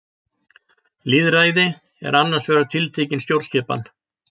Lýðræði er annars vegar tiltekin stjórnskipan.